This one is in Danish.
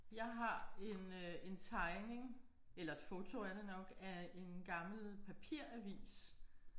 Jeg har en øh en tegning eller et foto er det nok af en gammel papiravis